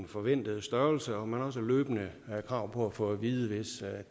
forventede størrelse og man har også løbende krav på at få at vide hvis